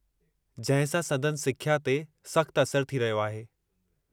जंहिं सां संदनि सिख्या ते सख़्त असर थी रहियो आहे।